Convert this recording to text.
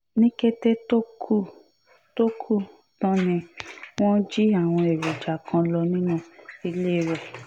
ní kété tó kù tó kù tán ni wọ́n jí àwọn èròjà kan lọ nínú ilé rẹ̀